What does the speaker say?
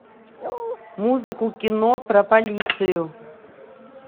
музыку кино про полицию